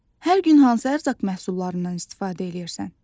Hər gün hansı ərzaq məhsullarından istifadə eləyirsən?